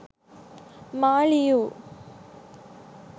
මා ලියූ